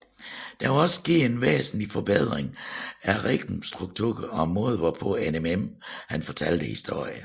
Der var også sket en væsentlig forbedring af rimstrukturen og måden hvorpå Eminem fortalte historierne